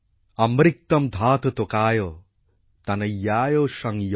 অমৃক্তমধাত তোকায় তনয়ায় শং য়ো